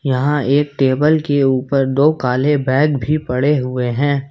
यहां एक टेबल के ऊपर दो काले बैग भी पड़े हुए हैं।